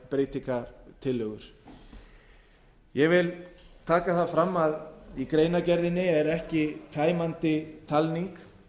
þær breytingartillögur ég vil taka það fram að í greianrgerðinni er ekki tæmandi talning